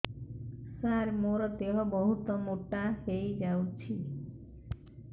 ସାର ମୋର ଦେହ ବହୁତ ମୋଟା ହୋଇଯାଉଛି